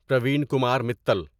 Parveen Kumar Mittal